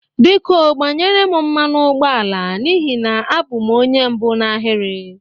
Biko gbanyere m mmanụ ụgbọ ala n'ihi na abụ m onye mbụ n'ahịrị.